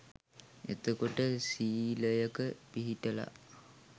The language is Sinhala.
එතකොට සීලයක පිහිටලා